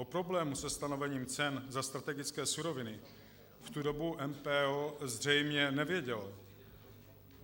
O problému se stanovením cen za strategické suroviny v tu dobu MPO zřejmě nevědělo.